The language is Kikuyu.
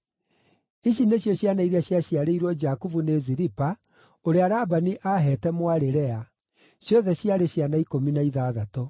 Icio nĩcio ciana iria ciaciarĩirwo Jakubu nĩ Zilipa, ũrĩa Labani aaheete mwarĩ Lea; ciothe ciarĩ ciana ikũmi na ithathatũ.